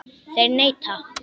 Þeir neita.